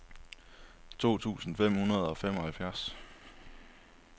to tusind fem hundrede og femoghalvfjerds